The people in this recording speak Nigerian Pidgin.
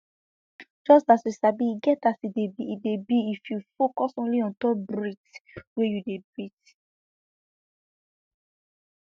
just as you sabi e get as e dey e dey be if you focus only untop breath wey you dey breath